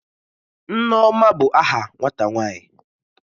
Nneoma bu aha nwata nwanyi.